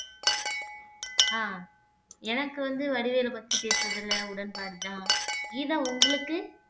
ஆஹ் எனக்கு வந்து வடிவேலு பத்தி பேசறதுல உடன்பாடுதான் கீதா உங்களுக்கு